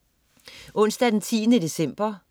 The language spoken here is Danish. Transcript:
Onsdag den 10. december